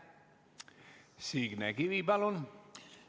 Signe Kivi, palun!